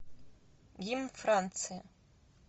гимн франции